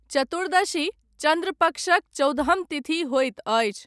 चतुर्दशी, चन्द्रपक्षक चौदहम तिथि होइत अछि।